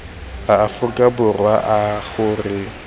a aforika borwa a gore